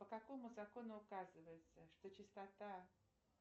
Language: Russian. по какому закону указывается что чистота